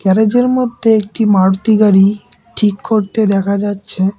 গ্যারাজের মধ্যে একটি মারুতি গাড়ি ঠিক করতে দেখা যাচ্ছে।